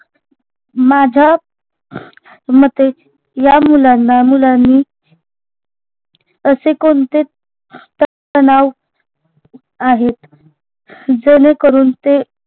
माझ्या मते या मुलांना मुलांनी असे कोणते त तनाव आहेत जेणेकरून ते